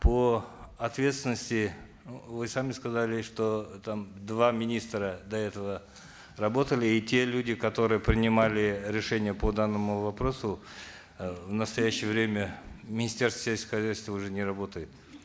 по ответственности вы сами сказали что там два министра до этого работали и те люди которые принимали решение по данному вопросу э в настоящее время в министерстве сельского хозяйства уже не работают